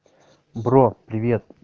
бро привет